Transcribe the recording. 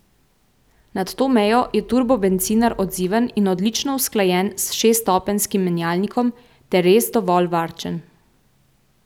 Nad to mejo je turbo bencinar odziven in odlično usklajen s šeststopenjskim menjalnikom ter res dovolj varčen.